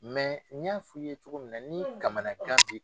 n y'a fɔ i ye cogo min na ni kamanagan bi